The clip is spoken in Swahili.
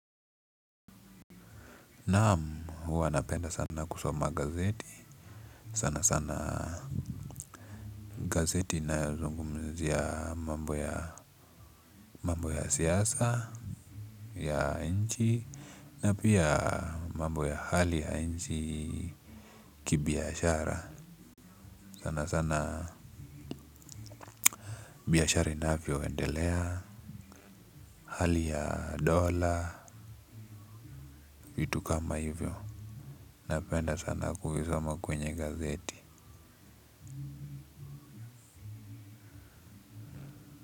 Naam huwa napenda sana kusoma gazeti. Sanasana gazeti inayozungumzia mambo ya. Mambo ya siasa ya nchi na pia mambo ya hali ya nchi kibiashara sanasana. Biashara inavyondelea. Hali ya dola vitu kama hivyo. Napenda sana kuvisoma kwenye gazeti.